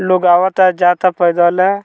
लोग आवता-जाता पैदल।